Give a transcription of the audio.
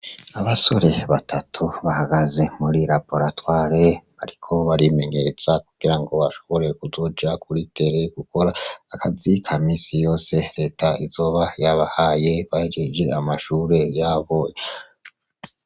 Abasore batatu bahagaze muri laporatware, ariko barimengeeza kugira ngo bashoborewe kuzuja kuritere gukora akazika misi yose reta izoba yabahaye bahjiijira amashure yaboy.